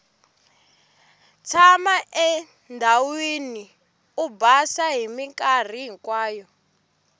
tshama endhawini o basa minkarhi hinkwayo